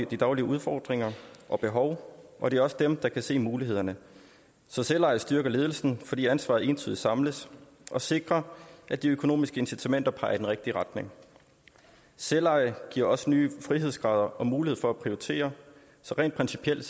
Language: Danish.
de daglige udfordringer og behov og det er også dem der kan se mulighederne så selveje styrker ledelsen fordi ansvaret entydigt samles og sikrer at de økonomiske incitamenter peger i den rigtige retning selveje giver også nye frihedsgrader og mulighed for at prioritere så rent principielt